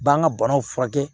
B'an ka banaw furakɛ